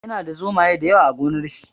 Yana da zomaye da yawa a gonar shi.